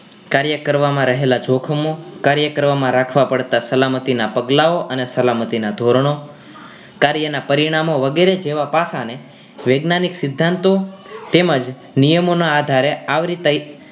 કાર્ય કરવામાં રહેલા જોખમો કાર્ય કરવામાં રાખવા પડતા સલામતી ના પગલાઓ અને સલામતી નાં ધોરણો કાર્ય ના પરિણામો જેવા પાસા ને વૈજ્ઞાનિક સીધંતો તેમજ નિયમો ના આધારે આવરીતાઈ